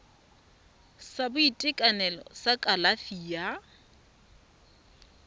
sa boitekanelo sa kalafi ya